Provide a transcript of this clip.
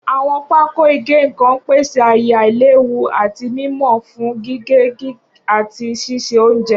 Awọn pákò ìgé-nnkan n pese aaye ailewu ati mimọ fun gige, gige, ati ṣiṣe ounjẹ.